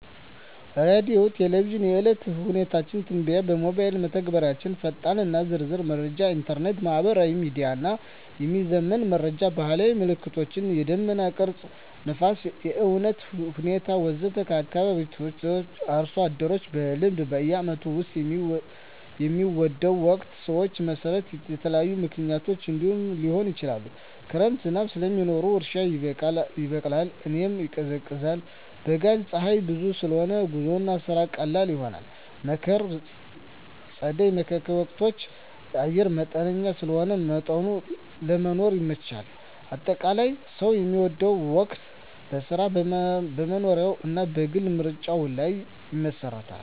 ሬዲዮና ቴሌቪዥን – የዕለት የአየር ሁኔታ ትንበያ ሞባይል መተግበሪያዎች ፈጣንና ዝርዝር መረጃ ኢንተርኔት/ማህበራዊ ሚዲያ – የሚዘመን መረጃ ባህላዊ ምልክቶች – የደመና ቅርጽ፣ ነፋስ፣ የእፅዋት ሁኔታ ወዘተ ከአካባቢ ሰዎች/አርሶ አደሮች – በልምድ በዓመቱ ውስጥ የሚወደው ወቅት ሰዎች መሠረት ይለያያል፣ ምክንያቶቹም እንዲህ ሊሆኑ ይችላሉ፦ ክረምት – ዝናብ ስለሚኖር እርሻ ይበቃል፣ አየር ይቀዝቃዛል። በጋ – ፀሐይ ብዙ ስለሆነ ጉዞና ስራ ቀላል ይሆናል። መከር/ጸደይ (መካከለኛ ወቅቶች) – አየር መጠነኛ ስለሆነ ለመኖር ይመቻቻል። አጠቃላይ፣ ሰው የሚወደው ወቅት በሥራው፣ በመኖሪያው እና በግል ምርጫው ላይ ይመሰረታል።